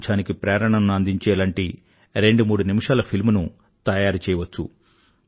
పారిశుధ్యానికి ప్రేరణను అందించేలాంటి రెండు మూడు నిమిషాల ఫిల్మ్ ను తయారు చేయవచ్చు